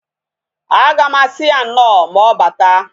Aga m asị ya nnọọ ma ọbata